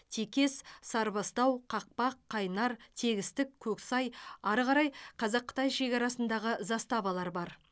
текес сарыбастау қақпақ қайнар тегістік көксай ары қарай қазақ қытай шекарасындағы заставалар бар